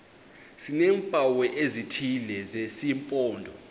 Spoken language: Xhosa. sineempawu ezithile zesimpondo